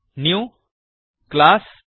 New class